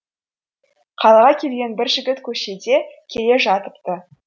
қалаға келген бір жігіт көшеде келе жатыпты